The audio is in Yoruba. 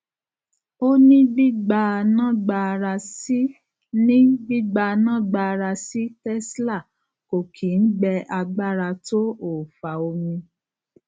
ó ní gbígbanáagbára sí ní gbígbanáagbára sí tesla kò kí ń gbẹ agbára tó òòfà omi